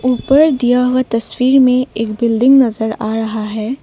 ऊपर दिया हुआ तस्वीर में एक बिल्डिंग नजर आ रहा है।